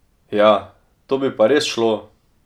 Ja, to bi pa res šlo!